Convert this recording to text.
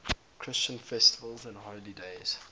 christian festivals and holy days